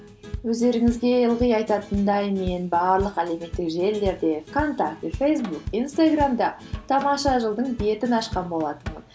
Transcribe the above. өздеріңізге ылғи айтатындай мен барлық әлеуметтік желілерде вконтакте фейсбук инстаграмда тамаша жыл дың бетін ашқан болатынмын